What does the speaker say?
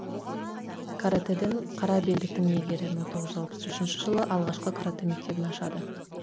каратэден қара белдіктің иегері мың тоғыз жүз алпыс үшінші жылы алғашқы каратэ мектебін ашады